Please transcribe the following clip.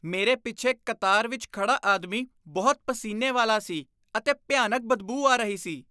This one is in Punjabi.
ਮੇਰੇ ਪਿੱਛੇ ਕਤਾਰ ਵਿੱਚ ਖੜ੍ਹਾ ਆਦਮੀ ਬਹੁਤ ਪਸੀਨੇ ਵਾਲਾ ਸੀ ਅਤੇ ਭਿਆਨਕ ਬਦਬੂ ਆ ਰਹੀ ਸੀ।